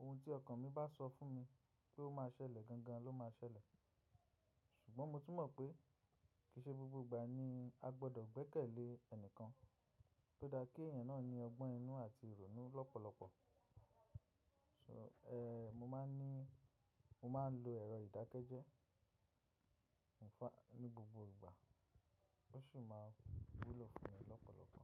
oun tí ọkàn mi bá sọ fún mi pé ó máa ṣẹlẹ̀ gangan ló máa ṣẹlẹ̀. Ṣùgbọ́n mo tún mọ̀ pé kì í ṣe gbogbo ìgbà ni a gbọdọ̀ gbẹ́kẹ̀lé ẹnìkan tó dáa kí ẹ̀yàn náà ní ọgbọ́n inú àti ìrònú lọ́pọ̀lọpọ̀. So, ẹ, mo máa ń ní, mo máa ń lo ẹ̀rọ ìdákẹ́jẹ́, ní gbogbo ìgbà ó sì máa ń wúlò fún mi lọ́pọ̀lọpọ̀.